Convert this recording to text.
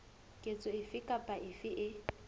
ketso efe kapa efe e